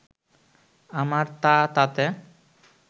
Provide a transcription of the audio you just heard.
আমার তা তাতে